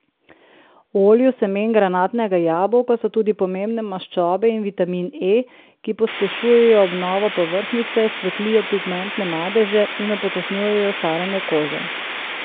V olju semen granatnega jabolka so tudi pomembne maščobe in vitamin E, ki pospešujejo obnovo povrhnjice, svetlijo pigmentne madeže in upočasnjujejo staranje kože.